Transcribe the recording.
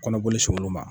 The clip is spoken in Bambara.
Kɔnɔboli se olu ma